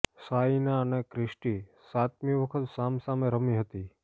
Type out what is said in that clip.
સાઈના અને ક્રિસ્ટી સાતમી વખત સામ સામે રમી હતી